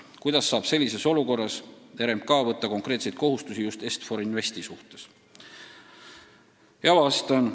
Kuidas saab sellises olukorras RMK võtta konkreetseid kohustusi just Est-For Investi suhtes?